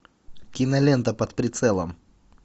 кинолента под прицелом